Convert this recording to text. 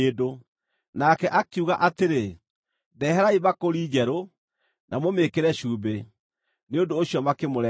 Nake akiuga atĩrĩ, “Ndeherai mbakũri njerũ, na mũmĩĩkĩre cumbĩ.” Nĩ ũndũ ũcio makĩmũrehere.